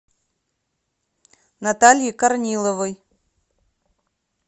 натальи корниловой